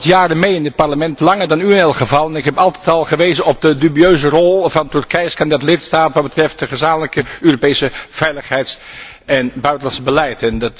Ik loop hier al wat jaren mee in dit Parlement, langer dan u in elk geval, en ik heb altijd al gewezen op de dubieuze rol van Turkije als kandidaat lidstaat wat betreft het gezamenlijke Europese veiligheids en buitenlands beleid.